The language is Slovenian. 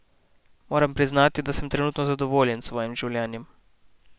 Moram priznati, da sem trenutno zadovoljen s svojim življenjem.